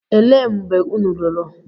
Elee mgbe unu lụrụ?